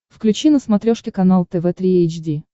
включи на смотрешке канал тв три эйч ди